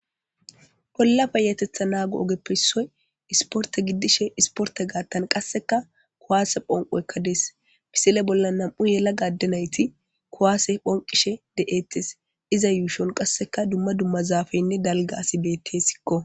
Bolla payatetha naago ogeppe issoy isporte giddishin isporte gaattan qasseka kuwaase phonqoyekka dees. Misile bolla nam7u yelaga adde nayti kuwaase phonqishe de7eetes. Iza yuushon qasseka dumma dumma zaafeynne dalga asi bettesikko.